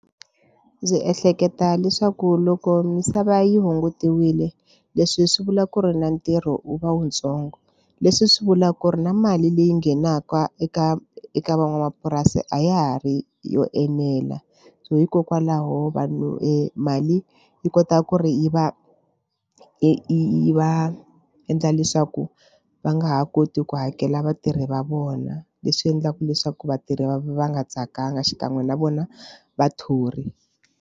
Ndzi ehleketa leswaku loko misava yi hungutiwile leswi swi vula ku ri na ntirho wu va wu ntsongo leswi swi vulaka ku ri na mali leyi nghenaka eka eka van'wamapurasi a ya ha ri yo enela so hikokwalaho vanhu e mali yi kota ku ri yi va yi va endla leswaku va nga ha koti ku hakela vatirhi va vona leswi endlaka leswaku vatirhi va va nga tsakanga xikan'we na vona vathori.